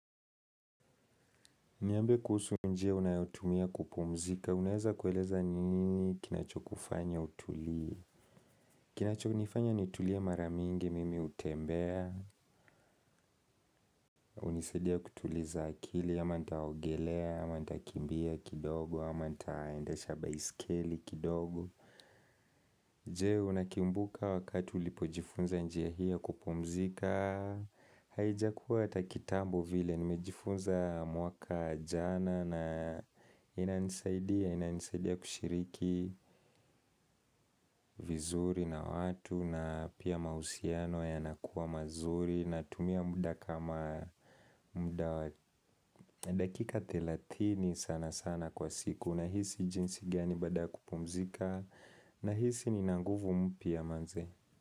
Niambe kuhusu njia unayotumia kupumzika, unaeza kueleza ni nini kinacho kufanya utulie. Kinacho nifanya nitulie mara mingi mimi hutembea, hunisaidia kutuliza akili, ama nitaogelea, ama nitakimbia kidogo, ama nitaendesha baisikeli kidogo. Je unakumbuka wakatu ulipojifunza njia hii ya kupumzika? Haijakuwa hata kitambo vile nimejifunza mwaka jana na inanisaidia inanisaidia kushiriki vizuri na watu na pia mahusiano yanakuwa mazuri na tumia muda kama muda dakika thelatini sana sana kwa siku. Unahisi jinsi gani baada ya kupumzika? Na hisi nina nguvu mpya manze.